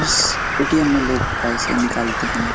इस ए.टी.एम. में लोग पैसे निकलते हैं।